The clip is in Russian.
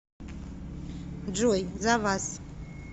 джой за вас